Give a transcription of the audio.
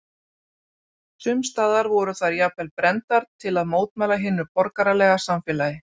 Sums staðar voru þær jafnvel brenndar til að mótmæla hinu borgaralega samfélagi.